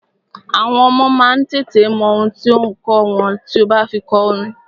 Àwọn ọmọ má a tètè mọ ohun tí ò ǹ kọ́ wọn tí o bá fi kọ orin.